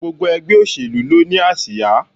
Gbogbo ègbé òṣèlú ló ni àsíá